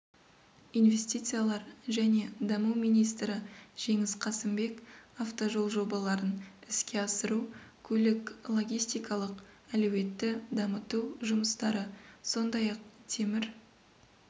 инвестициялар және даму министрі жеңіс қасымбек автожол жобаларын іске асыру көлік-логистикалық әлеуетті дамыту жұмыстары сондай-ақ темір